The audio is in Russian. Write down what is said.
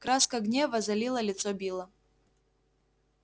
краска гнева залила лицо билла